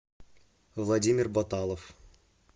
владимир баталов